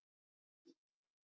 Reiknað með náttúrlegum tölum.